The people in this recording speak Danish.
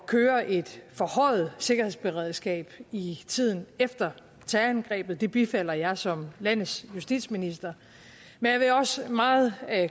køre et forhøjet sikkerhedsberedskab i tiden efter terrorangrebet det bifalder jeg som landets justitsminister men jeg vil også meget